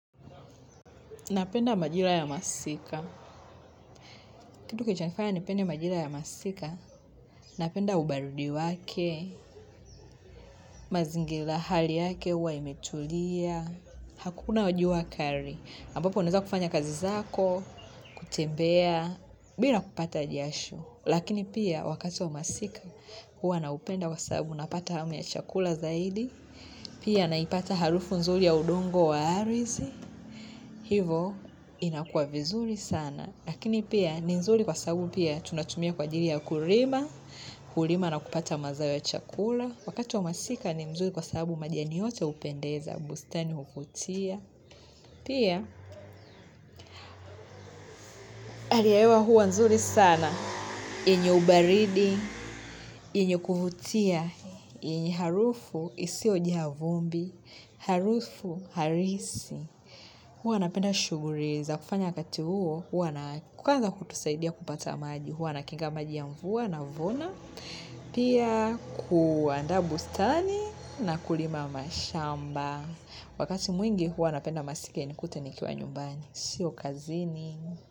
Napenda majira ya masika. Kitu kilichonifanya ni pende majira ya masika. Napenda ubarudi wake. Mazingira hali yake uwa imetulia. Hakuna jua kali. Ambapo uneza kufanya kazi zako. Kutembea. Bila kupata jasho. Lakini pia wakati wa masika. Huwa naupenda kwa sababu napata hamu ya chakula zaidi. Pia naipata harufu nzuri ya udongo wa ardhi. Hivo inakua vizuri sana. Lakini pia ni nzuri kwa sabu pia tunatumia kwa ajili ya, kulima na kupata mazao ya chakula. Wakati wa masika ni nzuri kwa sababu majani yote upendeza, bustani huvutia. Pia hali ya hewa huwa nzuri sana. Yenye ubaridi, yenye kuvutia, yenye harufu isio jaa vumbi, harufu halisi. Huwa napenda shughuli za kufanya wakati huo, huwa na kwanza kutusaidia kupata maji, huwa na kinga maji ya mvua navuna pia kuanda bustani na kulima mashamba. Wakati mwingi huwa napenda masika inikute ni kiwa nyumbani. Sio kazini.